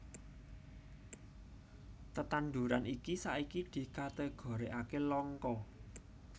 Tetanduran iki saiki dikategorikaké langka